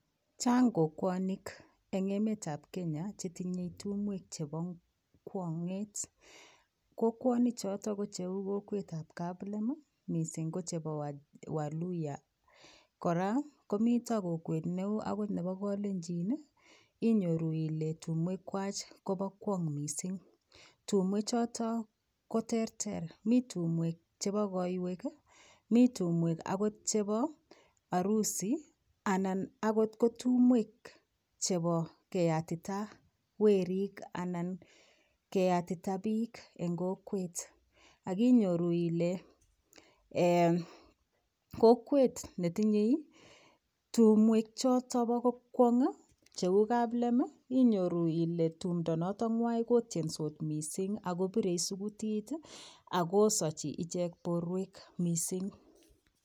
Chang kokwonik eng emetab kenya chetinyei tumwek chebo kwong'et. Kokwonichotok ko cheu chebo kaplem mising ko chebo waluiya. Kora komito kokwet neu akot nebo kolenjin inyoru ile tumwekwai kobo kwon'g mising. Tumwechotok ko terter, mi chebo koiwek, mi tumwek akot chebo arusi, anan akot kotumwek chebo keyatita werik anan keyatita biik eng kokwet. Akinyoru ile kokwet netinyei tumwekchotok bokokwong' cheu kaplem inyoru ile tumto notokng'wi kotiesot mising akopirei sukutit akosachi borwekwai.